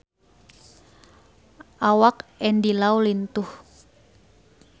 Awak Andy Lau lintuh